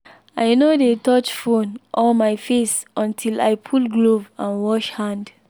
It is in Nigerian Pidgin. i no dey touch phone or my face until i pull glove and wash hand.